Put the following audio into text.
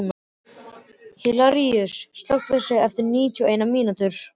Hilaríus, slökktu á þessu eftir níutíu og eina mínútur.